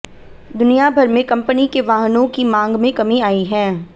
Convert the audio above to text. दुनियाभर में कंपनी के वाहनों की मांग में कमी आई है